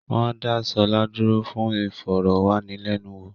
Wọ́n dá Ṣọlá dúró fún ìfọ̀rọ̀ wá ni lẹ́nu wò